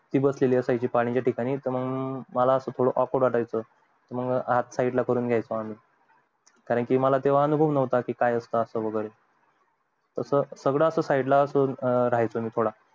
ती बसलेली असायची पाणी पित एके ठिकाणी मग मला थोडं akword वाटायच मंग हात side ला करून घायचो मी कारण कि तेव्हा मला अनुभव नव्हता काय असत ते तास सगळं ला राहायचो मी थोडा